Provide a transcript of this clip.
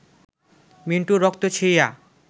মিন্টুর রক্ত ছুঁইয়া